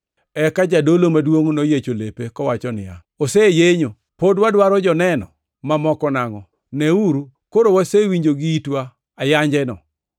Eka jadolo maduongʼ noyiecho lepe, kowacho niya, “Oseyenyo! Pod wadwaro joneno mamoko nangʼo? Neuru, koro wasewinjo gi itwa ayanjeno.